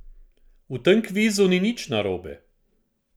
V tem kvizu nič ni narobe.